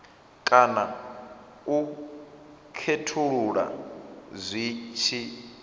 kana u khethulula zwi tshi